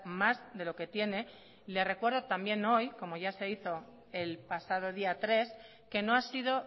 más de lo que tiene y le recuerdo también hoy como ya se hizo el pasado día tres que no ha sido